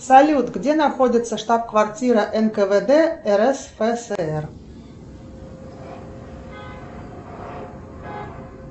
салют где находится штаб квартира нквд рсфср